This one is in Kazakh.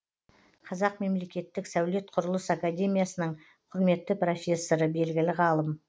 қазақ мемлекеттік сәулет құрылыс академиясының құрметті профессоры белгілі ғалым